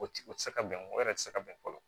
O tɛ o tɛ se ka bɛn o yɛrɛ tɛ se ka bɛn fɔlɔ